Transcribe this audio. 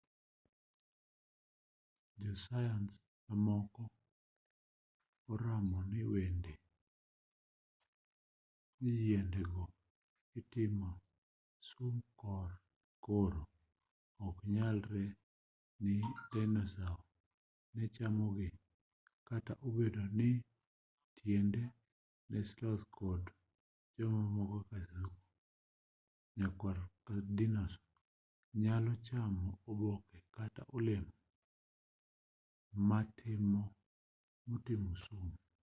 jo sayans mamoko oramo ni yiende go otimo sum koro oknyalre ni dinosau ne chamogi kata obedo ni tinende ni sloth to kod lee mamoko kaka kasuku nyakwar dinosau nyalo chamo oboke kata olemo motimo sum